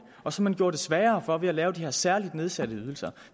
og som man gjorde det sværere for ved at lave de her særligt nedsatte ydelser